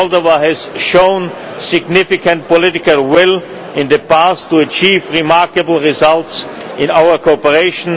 Moldova has shown significant political will in the past to achieve remarkable results in our cooperation.